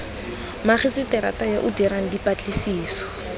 magiseterata yo o dirang dipatlisiso